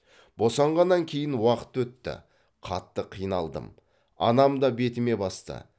босанғаннан кейін уақыт өтті қатты қиналдым анам да бетіме басты